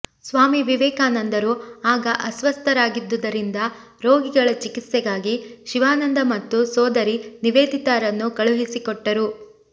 ಸ್ವಾಮಿ ವಿವೇಕಾನಂದರು ಆಗ ಅಸ್ವಸ್ಥರಾಗಿದ್ದುದರಿಂದ ರೋಗಿಗಳ ಚಿಕಿತ್ಸೆಗಾಗಿ ಶಿವಾನಂದ ಮತ್ತು ಸೋದರಿ ನಿವೇದತಾರನ್ನು ಕಳುಹಿಸಿಕೊಟ್ಟರು